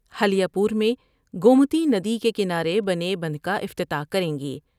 ہلیہ پور میں گومتی ندی کے کنارے بنے بندھ کا افتتاح کریں گے ۔